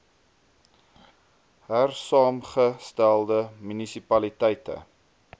hersaamge stelde munisipaliteite